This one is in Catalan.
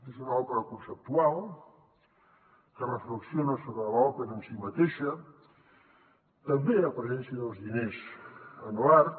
és una òpera conceptual que reflexiona sobre l’òpera en si mateixa també la presència dels diners en l’art